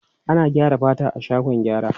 Ana gyara fata a shagon gyara.